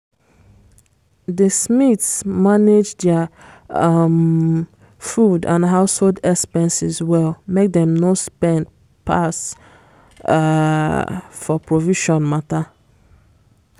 di smiths manage dia um food and household expenses well make dem no spend pass um for provision mata